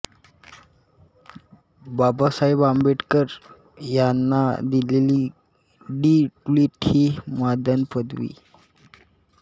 बाबासाहेब आंबेडकर यांना दिलेली D Litt ही मानद पदवी